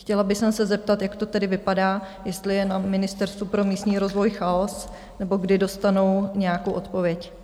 Chtěla bych se zeptat, jak to tedy vypadá, jestli je na Ministerstvu pro místní rozvoj chaos, nebo kdy dostanou nějakou odpověď.